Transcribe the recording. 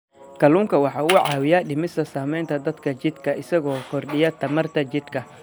Kalluunku waxa uu caawiyaa dhimista saamaynta daalka jidhka isaga oo kordhiya tamarta jidhka.